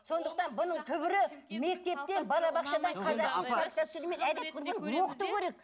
сондықтан бұның түбірі мектептен